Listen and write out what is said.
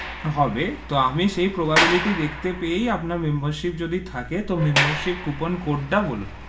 হবে, তো আমি সেই probality দেখতে পেয়ে আপনার membership যদি থাকে তো membership coupon code তা বলুন,